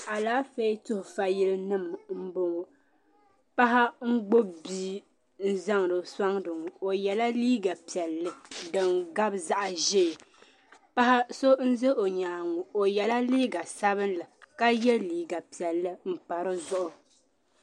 Alafɛɛ tuhifa yili nim mbɔŋɔ paɣa n gbibi bia n zaŋdo sɔŋ na o yala liiga piɛli din gabi zaɣi zɛɛ paɣi nzɛ o nyangi mu o yala liiga sabinli ka yɛ liiga piɛli mpa di zuɣu.